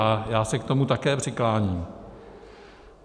A já se k tomu také přikláním.